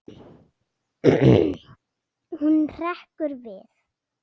Hún hrekkur við.